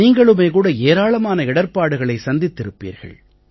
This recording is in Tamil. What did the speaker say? நீங்களுமே கூட ஏராளமான இடர்ப்பாடுகளை சந்தித்திருப்பீர்கள்